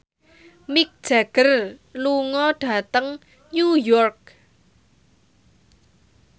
Mick Jagger lunga dhateng New York